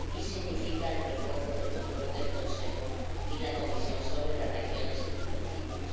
Y significa el refuerzo del control del Consejo y la Comisión sobre las regiones y los municipios.